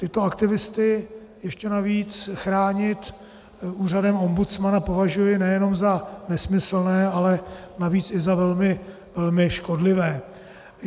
Tyto aktivisty ještě navíc chránit úřadem ombudsmana považuji nejenom za nesmyslné, ale navíc i za velmi škodlivé.